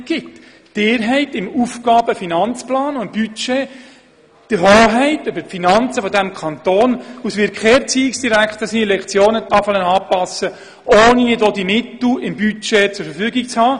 Sie haben im Rahmen von Aufgaben-/Finanzplan und Budget die Hoheit über die Finanzen dieses Kantons, und es wird kein Erziehungsdirektor die Lektionentafel anpassen, ohne die entsprechenden Mittel im Budget zur Verfügung zu haben.